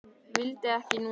Vildi ekki muna.